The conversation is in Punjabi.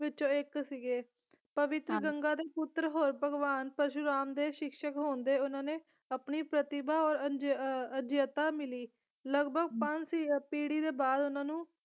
ਵਿੱਚੋਂ ਇੱਕ ਸੀਗੇ ਪਵਿੱਤਰ ਗੰਗਾ ਦੇ ਪੁੱਤਰ ਔਰ ਭਗਵਾਨ ਪਰਸ਼ੁਰਾਮ ਦੇ ਸਿਕਸ਼ਕ ਹੋਣ ਦੇ ਉਹਨਾਂ ਨੇ ਆਪਣੀ ਪ੍ਰਤਿਭਾ ਔਰ ਅੰਜ ਅਜਿੱਤਤਾ ਮਿਲੀ ਲਗਭਗ ਪੰਜ ਸ ਪੀੜ੍ਹੀ ਦੇ ਬਾਅਦ ਉਹਨਾਂ ਨੂੰ